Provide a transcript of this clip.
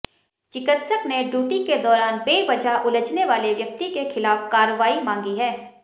चिकित्सक ने ड्यूटी के दौरान बेवजह उलझने वाले व्यक्ति के खिलाफ कार्रवाई मांगी है